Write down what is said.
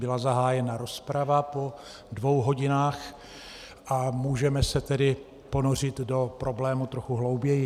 Byla zahájena rozprava po dvou hodinách, a můžeme se tedy ponořit do problému trochu hlouběji.